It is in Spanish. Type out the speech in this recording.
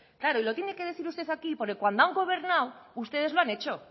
claro y lo tiene que decir usted aquí porque cuando han gobernado ustedes lo han hecho